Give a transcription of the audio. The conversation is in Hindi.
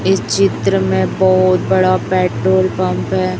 इस चित्र में बहोत बड़ा पेट्रोल पंप है।